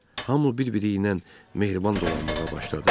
Hamı bir-biri ilə mehriban dolanmağa başladı.